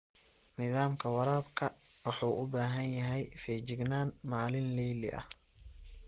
Nidaamka waraabka wuxuu u baahan yahay feejignaan maalinle ah.